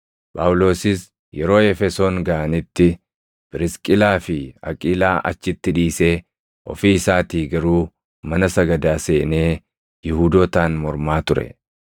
Phaawulosis yeroo Efesoon gaʼanitti Phirisqilaa fi Aqiilaa achitti dhiisee ofii isaatii garuu mana sagadaa seenee Yihuudootaan mormaa ture.